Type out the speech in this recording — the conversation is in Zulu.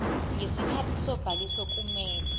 ngesikhathi sobhaliso kumele